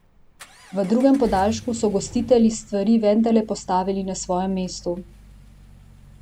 V drugem podaljšku so gostitelji stvari vendarle postavili na svoje mesto.